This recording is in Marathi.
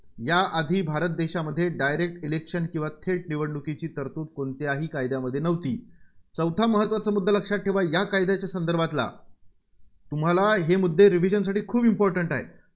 या आधी भारत देशामध्ये direct election किंवा थेट निवडणूकीची तरतुद कोणत्याही कायद्यामध्ये नव्हती. चौथा महत्त्वाचा मुद्दा लक्षात ठेवा या कायद्याच्या संदर्भातला तुम्हाला हे मुद्दे revision साठी खूप important आहेत.